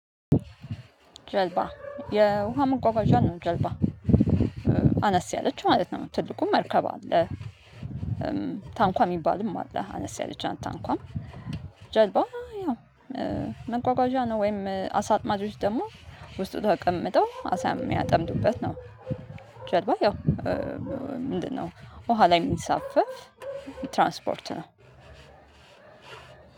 ጀልባ የውሃ መንጓጓዣ ነው ጀልባ አነስ ያለችው ማለት ነው። ትልቁ መርከብ አለ። ታንኳ የሚባልም አለ አነስ ያለች ታንኳም። ጀልባ ያው መጓጓዣ ነው ወይም አሳጥማጆች ደግሞ ውስጡ ተቀምጠው አሳ የሚያጠምዱበት ነው። ጀርባ ያው ምንድነው? ውሃ ላይ የሚሳፈፍ ትራንስፖርት ነው።